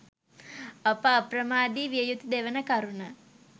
අප අප්‍රමාදී විය යුතු දෙවන කරුණ